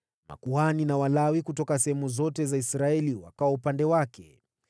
Makuhani na Walawi kutoka sehemu zote za Israeli wakawa upande wake.